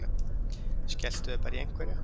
Skelltu þér bara í einhverja!